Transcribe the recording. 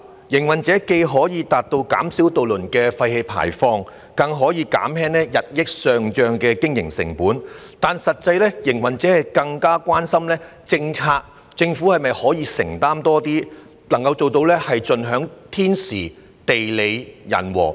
營辦商既可減少渡輪的廢氣排放，更可減輕日益上漲的經營成本，但實際上，營辦商更關心的是政府可否在政策方面承擔更多，以盡享天時、地利、人和。